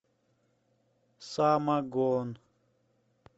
самогон